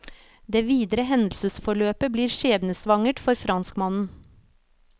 Det videre hendelsesforløpet blir skjebnesvangert for franskmannen.